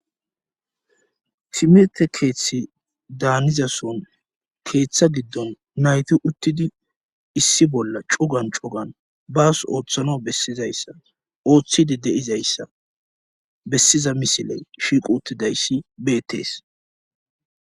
Timirtte keethi daanizason keetha giddon nayti uttidi issi bolla cugan cugan baas oothanaw bessizayssa oothidi de7izayssa bessiza misiley shiiqi uttidayssi beettees.